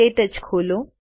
ક્ટચ ખોલો